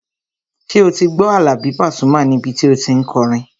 Ṣé o ti gbọ́ Àlàbí Pasuma níbi tí o tí n kọrin?